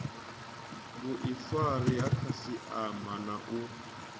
vhuifari ha khasiama na u